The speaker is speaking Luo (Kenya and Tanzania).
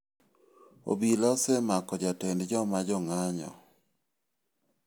Obila osemako jatend joma jong'anjo.